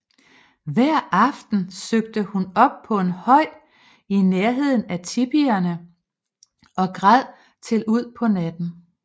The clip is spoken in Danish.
Hver aften søgte hun op på en høj i nærheden af tipierne og græd til ud på natten